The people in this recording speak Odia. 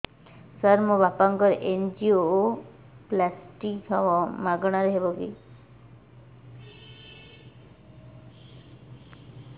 ସାର ମୋର ବାପାଙ୍କର ଏନଜିଓପ୍ଳାସଟି ହେବ ମାଗଣା ରେ ହେବ କି